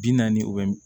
Bi naani u bɛ